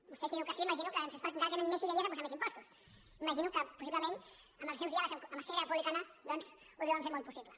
vostè si diu que sí m’imagino que és perquè encara tenen més idees de posar més impostos m’imagino que possiblement els seus diàlegs amb esquerra republicana doncs ho deuen fer molt possible